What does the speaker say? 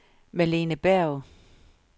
Malene Berg